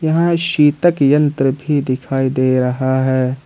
यहां शितक यंत्र भी दिखाई दे रहा है।